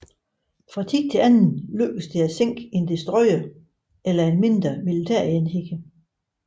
Fra tid til anden lykkedes det at sænke en destroyer eller en mindre militærenhed